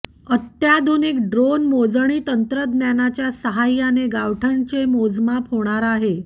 अत्याधुनिक ड्रोन मोजणी तंत्रज्ञानाच्या सहाय्याने गावठाणाचे मोजमाप होणार आहे